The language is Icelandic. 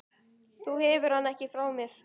Þú hefur hann ekki frá mér.